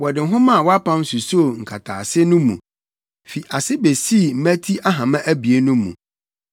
Wɔde nwoma a wɔapam susoo nkataase no mu fi ase besii mmati ahama abien no mu.